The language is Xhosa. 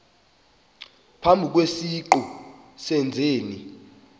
phambi kwesiqu sezenzi